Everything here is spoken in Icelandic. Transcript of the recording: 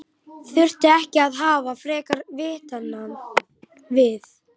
Þurfti ekki að hafa frekari vitnanna við?